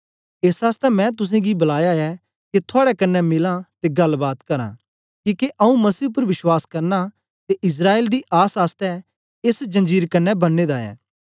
एस आसतै मैं तुसेंगी बलाया ऐ के थुआड़े कन्ने मिलां ते गल्ल बात करां किके आंऊँ मसीह उपर विश्वास करना ते इस्राएल दी आस आसतै एस जंजीर कन्ने बन्ने दा ऐ